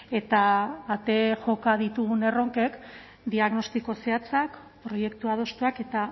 eta ate joka ditugun erronkek diagnostiko zehatzak proiektu adostuak eta